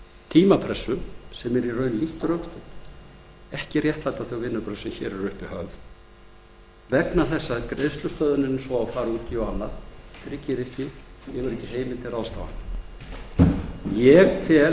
tímapressu sem er í rauninni lítt rökstudd ekki réttlæta þau vinnubrögð sem hér eru höfð uppi vegna þess að greiðslustöðvunin sem á að fara út í og annað tryggir ekki og hefur ekki heimild til ráðstafana ég tel